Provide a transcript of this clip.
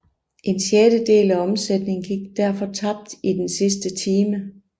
En sjettedel af omsætningen gik derfor tabt i den sidste time